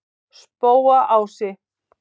Spóaási